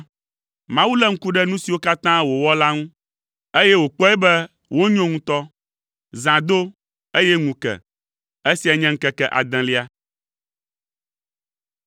Mawu lé ŋku ɖe nu siwo katã wòwɔ la ŋu, eye wòkpɔe be wonyo ŋutɔ. Zã do, eye ŋu ke. Esiae nye ŋkeke adelia.